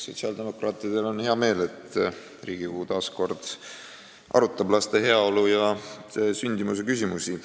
Sotsiaaldemokraatidel on hea meel, et Riigikogu arutab taas kord laste heaolu ja sündimuse küsimusi.